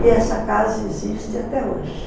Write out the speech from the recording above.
E essa casa existe até hoje.